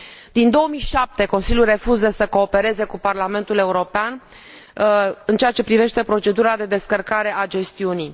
Din 2007, Consiliul refuză să coopereze cu Parlamentul European în ceea ce privește procedura de descărcare a gestiunii.